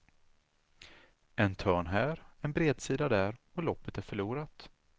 En törn här, en bredsida där, och loppet är förlorat.